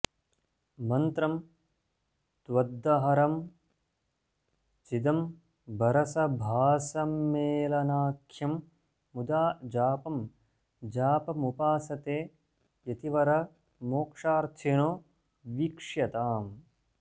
मन्त्रं त्वद्दहरं चिदम्बरसभासम्मेलनाख्यं मुदा जापं जापमुपासते यतिवरा मोक्षार्थिनो वीक्ष्यताम्